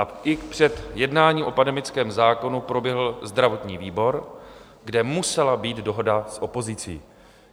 A i před jednáním o pandemickém zákonu proběhl zdravotní výbor, kde musela být dohoda s opozicí.